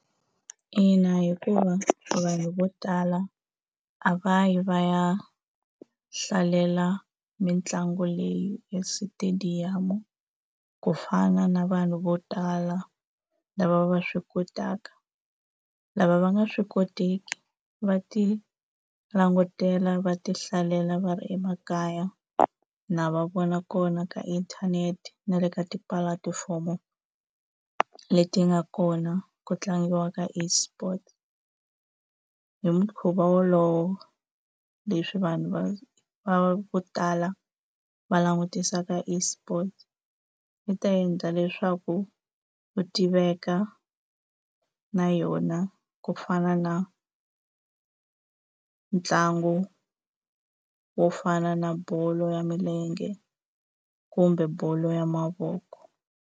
Ina, hikuva vanhu vo tala a va yi va ya hlalela mitlangu leyi estadium ku fana na vanhu vo tala lava va swi kotaka lava va nga swi koteki va ti langutela va ti hlalela va ri emakaya na va vona kona ka inthanete na le ka tipulatifomo leti nga kona ku tlangiwa ka esport hi mukhuva wolowo leswi vanhu va va vo tala va langutisaka esport i ta endla leswaku u tiveka na yona ku fana na ntlangu wo fana na bolo ya milenge kumbe bolo ya mavoko.